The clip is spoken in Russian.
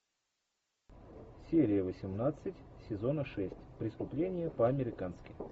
серия восемнадцать сезона шесть преступление по американски